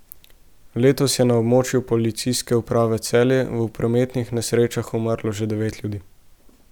Letos je na območju Policijske uprave Celje v prometnih nesrečah umrlo že devet ljudi.